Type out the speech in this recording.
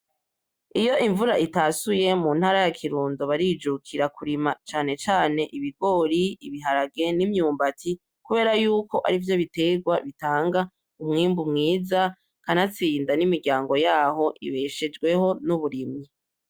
Iyo imvura itasuye muntara ya kirundo barijukira kurima cane cane ibigori, ibiharage, imyubati kubera yuko arivyo biterwa bitanga imyibu myiza kanastinda nimiryago yabo ibeshejweho nuburimyi.